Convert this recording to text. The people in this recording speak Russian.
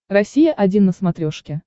россия один на смотрешке